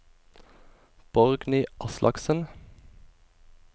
Borgny Aslaksen